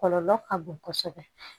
Kɔlɔlɔ ka bon kosɛbɛ